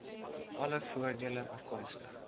alle voordele afkomstig